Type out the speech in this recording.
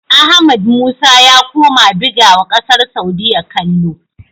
Ahmad musa ya koma bigawa ƙasar saudia kallo